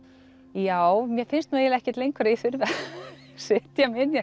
já mér finnst nú eiginlega ekkert lengur að ég þurfi að setja mig inn í